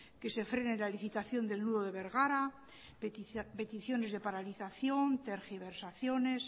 que se frene la licitación del nudo de bergara peticiones de paralización tergiversaciones